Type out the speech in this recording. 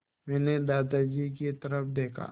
मैंने दादाजी की तरफ़ देखा